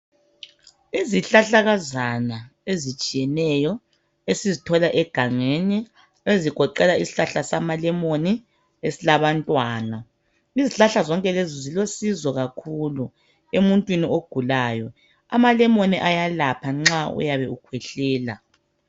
Izihlahlakazana ezitshiyeneyo, esizithola egangeni. Ezigoqela isihlahla samalemon, esilabantwana. Izihlahla zonke lezi, zilosizo kakhulu, emuntwini ogulayo. Amalemon ayalapha nxa uyabe ukhwehlela.